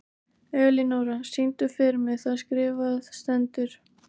Elinóra, syngdu fyrir mig „Það skrifað stendur“.